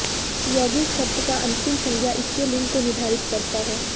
यौगिक शब्द का अंतिम संज्ञा इसके लिंग को निर्धारित करता है